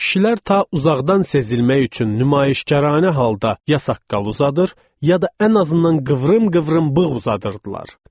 Kişilər ta uzaqdan sezilmək üçün nümayişkaranə halda ya saqqal uzadır, ya da ən azından qıvrım-qıvrım bığ uzadırdılar.